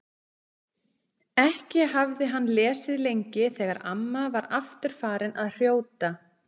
Ekki hafði hann lesið lengi þegar amma var aftur farin að hrjóta.